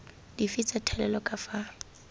dife tsa thalelo ka fa